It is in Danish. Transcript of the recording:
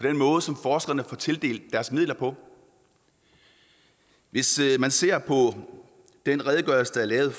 den måde som forskerne får tildelt deres midler på hvis man ser på den redegørelse der er lavet